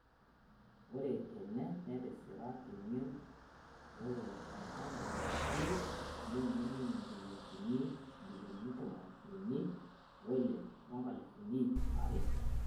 Oree tena, netisira, temion "Oree enkapuni naati neimine ninye injilingini ibilioni tomon unii ooile ong'alifuni iip are."